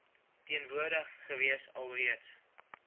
teenwoordig gewees alreeds